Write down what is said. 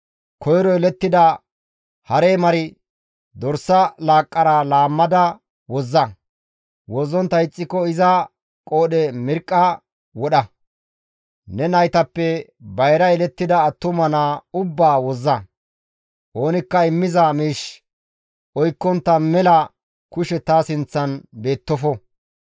koyro yelettida hare mar, dorsa laaqqara laammada wozza; wozzontta ixxiko iza qoodhe mirqqa wodha. Ne naytappe bayra yelettida attuma naa ubbaa wozza. «Oonikka immiza miish oykkontta mela kushe ta sinththan beettofo.